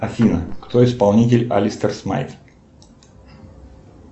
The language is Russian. афина кто исполнитель алистер смайт